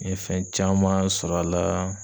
N ye fɛn caman sɔr'a laa